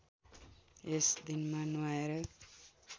यस दिनमा नुहाएर